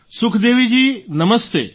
સુખદેવીજી નમસ્તે